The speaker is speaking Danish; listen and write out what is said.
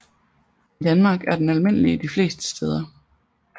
I Danmark er den almindelig de fleste steder